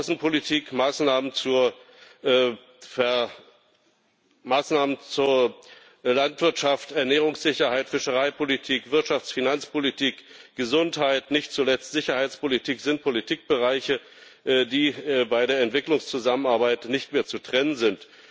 Außenpolitik, Maßnahmen zur Landwirtschaft, Ernährungssicherheit, Fischereipolitik, Wirtschafts Finanzpolitik, Gesundheit, nicht zuletzt Sicherheitspolitik, sind Politikbereiche, die bei der Entwicklungszusammenarbeit nicht mehr zu trennen sind.